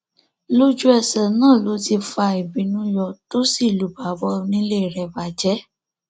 lójúẹsẹ náà ló ti fa ìbínú yọ tó sì lu bàbá onílé rẹ bàjẹ